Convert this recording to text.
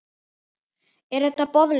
Er þetta boðlegt?